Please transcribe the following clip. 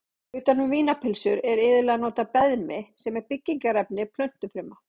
Utan um vínarpylsur er iðulega notað beðmi sem er byggingarefni plöntufruma.